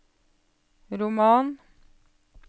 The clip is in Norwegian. roman